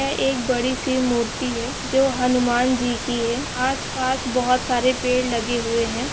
यह एक बड़ी सी मूर्ति है जो हनुमान जी की है आसपास बहोत सारे पेड़ लगे हुए है।